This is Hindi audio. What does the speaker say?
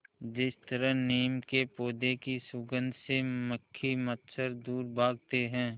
जिस तरह नीम के पौधे की सुगंध से मक्खी मच्छर दूर भागते हैं